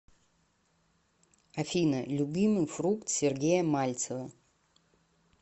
афина любимый фрукт сергея мальцева